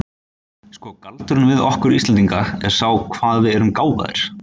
Sko, galdurinn við okkur Íslendinga er sá hvað við erum gáfaðir.